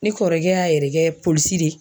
Ne kɔrɔkɛ y'a yɛrɛ kɛ polisi de ye.